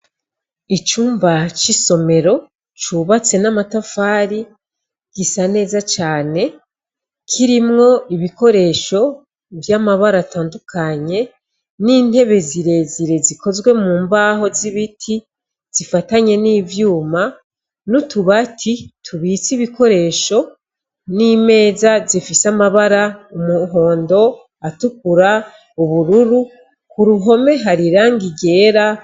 Icumba c'isomero cubatse n'amatafari gisa neza cane kirimwo ibikoresho vy'amabara atandukanye n'intebe zirezire zikozwe mu mbaho z'ibiti zifatanye n'ivyuma n'utubati tubitse ibikoresho n'imeza zifise amabara umuhondo, atukura, ubururu, ku ruhome hari iranga ryera.